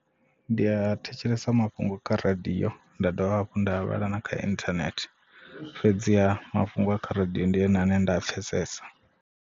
Ndi a thetshelesa mafhungo kha radiyo nda dovha hafhu nda vhala kha internet fhedzi a mafhungo a kha radio ndi one ane nda a pfhesesa.